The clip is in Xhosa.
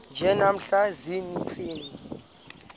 nje namhla ziintsizi